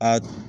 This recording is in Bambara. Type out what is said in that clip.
A